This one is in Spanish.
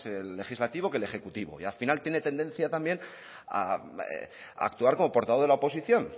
el legislativo que el ejecutivo y al final tiene tendencia también a actuar como portavoz de la oposición